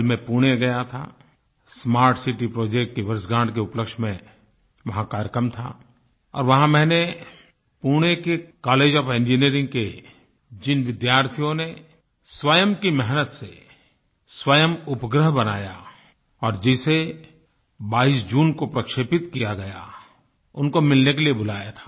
कल मैं पुणे गया था स्मार्ट सिटी प्रोजेक्ट की वर्षगाँठ के उपलक्ष्य में वहाँ कार्यक्रम था और वहाँ मैंने पुणे के कॉलेज ओएफ इंजिनियरिंग के जिन विद्यार्थियों ने स्वयं की मेहनत से स्वयं उपग्रह बनाया और जिसे 22 जून को प्रक्षेपित किया गया उनको मिलने के लिए बुलाया था